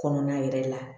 Kɔnɔna yɛrɛ la